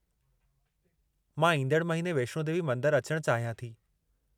मां ईंदड़ महीने वैष्णो देवी मंदरु अचणु चाहियां थी।